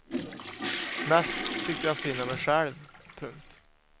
Mest tyckte jag synd om mig själv. punkt